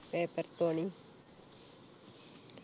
paper തോണി